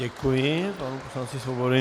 Děkuji panu poslanci Svobodovi.